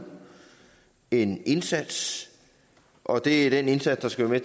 en indsats og det er den indsats der skal være